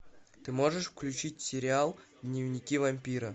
ты можешь включить сериал дневники вампира